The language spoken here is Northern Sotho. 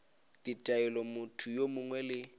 ditaelo motho yo mongwe le